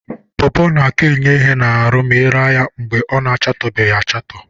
Pọpọ na-aka enye ihe n'ahụ ma ị raa ya mgbe ọ na-achatoghị achatọ.